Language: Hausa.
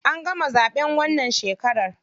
An gama zaɓen wannan shekarar.